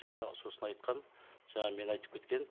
жаңағы сосын айтқан жаңа мен айтып кеткен